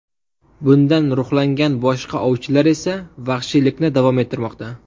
Bundan ruhlangan boshqa ovchilar esa vahshiylikni davom ettirmoqda.